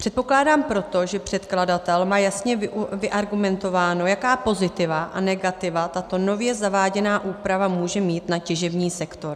Předpokládám proto, že předkladatel má jasně vyargumentováno, jaká pozitiva a negativa tato nově zaváděná úprava může mít na těžební sektor.